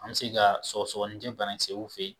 An mi se ka sɔkɔsɔkɔnijɛ bana kisɛ y'u fɛ yen